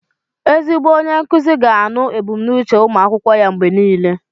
Ezigbo onye nkuzi ga na-anụ ebùmnúchè ụmụ akwụkwọ ya mgbe niile